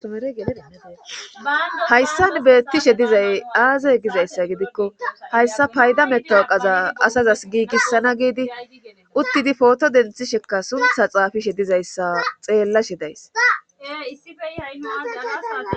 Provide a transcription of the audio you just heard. hayssan beettishe dizay aaze gizayssa gidikko hayssa payda metaoqaza asazas giigissana giidi uttidi pooto denthisheka suntha xaafishe dizayssa xeellashe days